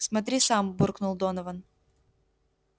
смотри сам буркнул донован